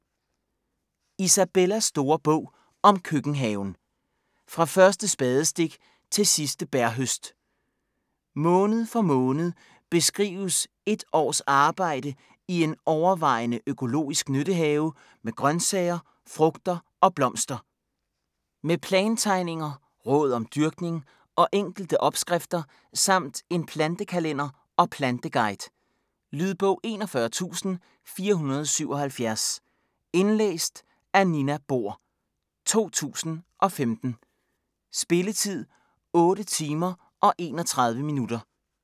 Isabellas store bog om køkkenhaven: fra første spadestik til sidste bærhøst Måned for måned beskrives et års arbejde i en overvejende økologisk nyttehave med grøntsager, frugter og blomster. Med plantegninger, råd om dyrkning og enkelte opskrifter samt en plantekalender og planteguide. Lydbog 41477 Indlæst af Nina Bohr, 2015. Spilletid: 8 timer, 31 minutter.